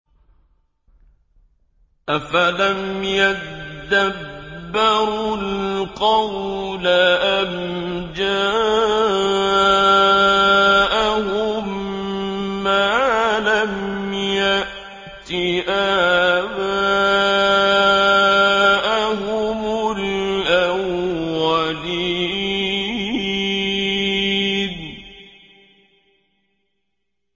أَفَلَمْ يَدَّبَّرُوا الْقَوْلَ أَمْ جَاءَهُم مَّا لَمْ يَأْتِ آبَاءَهُمُ الْأَوَّلِينَ